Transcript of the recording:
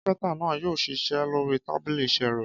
Kápẹ́ńtà náà yóò ṣiṣẹ́ lórí tábìlì iṣẹ́ rẹ̀.